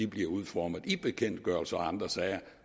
bliver udformet i bekendtgørelser og andre sager